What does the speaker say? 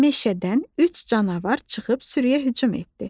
Meşədən üç canavar çıxıb sürüyə hücum etdi.